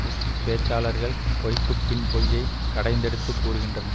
push பேச்சாளர்கள் பொய்க்குப் பின் பொய்யை கடைந்தெடுத்து கூறுகின்றனர்